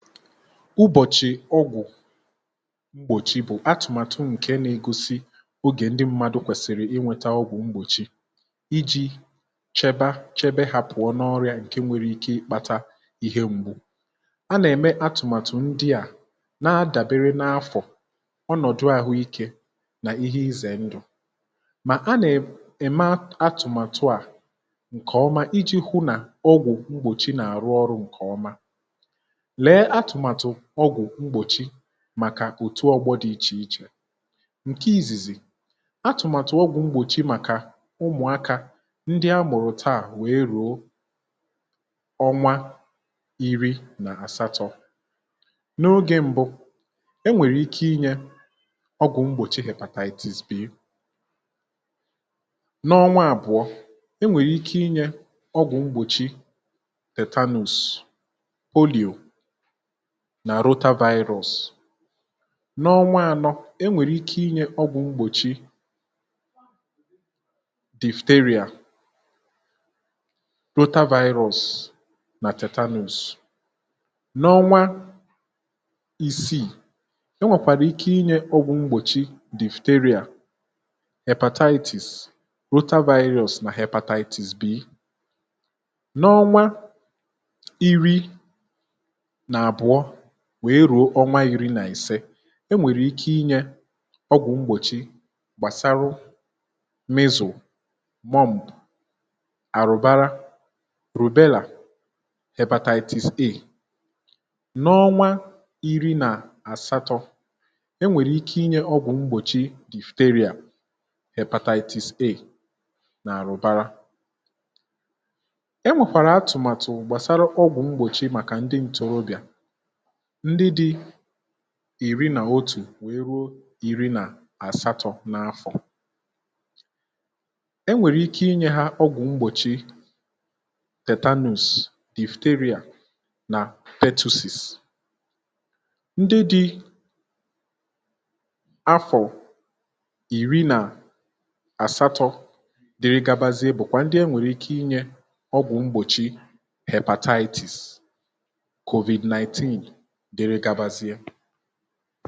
ụbọ̀chì ọgwụ̀ m̀gbòchì bụ̀ atụ̀màtụ ǹke n’egosi ogè ndị mmadụ̇ kwèsìrì inwėtȧ ọgwụ̀ m̀gbòchi iji̇ cheba chebe ha pụ̀ọ n’ọrịà ǹke nwere ike ịkpata ihe m̀gbù a nà-ème atụ̀màtụ̀ ndị à na-adàbere n’afọ̀ ọnọ̀dụ̀ ahụ̀ike nà ihe izè ndụ̀ mà a nà-ème atụ̀màtụ à ǹkè ọma iji̇ hụ nà ọgwụ̀ mgbòchì nà-àrụ ọrụ̇ ǹkè ọma, lee atụ̀màtụ̀ ọgwụ̀ mgbòchi màkà otu ọgbọ dị ichè ichè, ǹke izìzì, atụ̀màtụ̀ ọgwụ̀ mgbòchi màkà ụmụ̀akȧ ndị amụ̀rụ̀ taà wèe rùo ọnwa iri nà àsatọ̇ n’ogė mbụ enwèrè ike inye ọgwụ̀ mgbòchi hebataitis b, n’ọnwa àbụ̀ọ enwèrè ike inye ọgwụ̀ mgbòchi tetanus, polìò na rota virus, nà ọnwa anọ enwèrè ike inye ọgwụ̀ mgbòchi difteria, rota virus nà tetanus, n’ọnwa isii, o nwèkwàrà ike inye ọgwụ̀ mgbòchi difteria, hepatitis, rota virus nà hepatitis b, n’ọnwa iri na abụọ wèe rùo ọnwa iri nà ìse e nwèrè ike inyė ọgwụ̀ mgbòchi gbàsara mịzu, worm, àrụ̀bara, rùbelà hebatatis A, n’ọnwa iri nà àsatọ̇ e nwèrè ike inyė ọgwụ̀ mgbòchi dìfùteria, hebatatis A nà àrụ̀bara, e nwèkwàrà atụ̀màtụ̀ gbàsara ọgwụ̀ mgbòchi màkà ndị ǹtọ̀rọbịà ndị dị̀ iri nà otù wee ruo ìri nà àsatọ̇ n’afọ̀, enwèrè ike inye ha ọgwụ̀ mgbòchi tetanus, difuteria nà tetusis, ndị dị̀ afọ̀ ìri nà àsatọ̇ dere gabazie bùkwa ndị e nwèrè ike inyė ọgwụ̀ mgbòchi hepatitis, covid 19 dere gabazie